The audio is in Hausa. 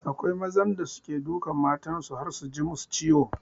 Akwai mazan da suke dukan matan su har su ji masu ciwo